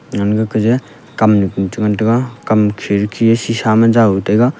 kam nu ku cha ngan taga kam kherki e sisa ma jao taga.